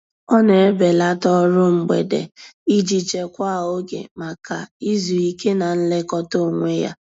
Ọ na-ebelata ọrụ mgbede iji chekwaa oge maka izu ike na nlekọta onwe ya.